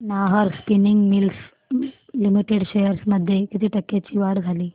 Nahar spinning mills limited shares मध्ये किती टक्क्यांची वाढ झाली